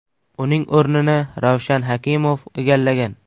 Uning o‘rnini Ravshan Hakimov egallagan.